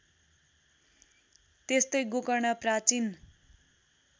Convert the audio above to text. त्यस्तै गोकर्ण प्राचीन